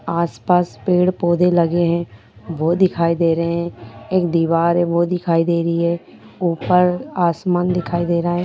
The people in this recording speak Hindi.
आस पास पेड़ पौधे लगे हैं वो दिखाई दे रहे हैं एक दीवार है वो दिखाई दे रही है ऊपर आसमान दिखाई दे रहा है।